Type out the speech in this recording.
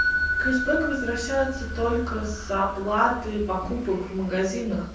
кэшбэк возвращается только с оплаты покупок в магазинах